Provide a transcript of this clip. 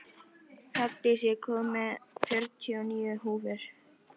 Hrafndís, ég kom með fjörutíu og níu húfur!